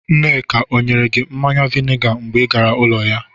Nneka ọ nyere gị mmanya vainga mgbe ị gara ụlọ ya?